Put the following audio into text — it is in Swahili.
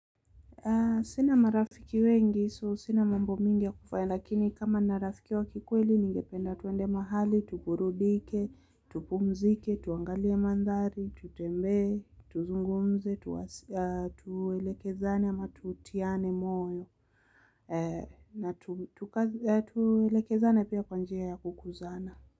Sina marafiki wengi so sina mambo mingi ya kufanya lakini kama ninarafiki wa kikweli ningependa twende mahali, tuburudike, tupumzike, tuangalie mandhari, tutembe, tuzungumze, tueleke zane ama tutiane moyo na tueleke zane pia kwanjia ya kukuzana.